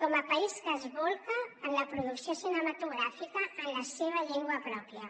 com a país que s’aboca en la producció cinematogràfica en la seva llengua pròpia